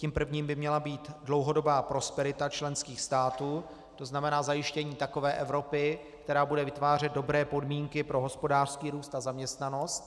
Tím prvním by měla být dlouhodobá prosperita členských států, to znamená zajištění takové Evropy, která bude vytvářet dobré podmínky pro hospodářský růst a zaměstnanost.